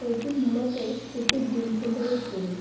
এটি মূলত একটি জিম সেন্টারের ছবি।